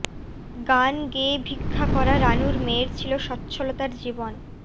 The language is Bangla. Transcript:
গান গেয়ে ভিক্ষা করা রানুর মেয়ের ছিল সচ্ছলতার জীবন